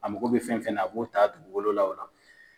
A mago bɛ fɛn fɛn na a b'o ta dugugolo la o la.